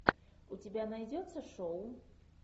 у тебя найдется шоу